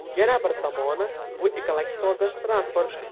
Yana bir tomoni, bu ekologik toza transport.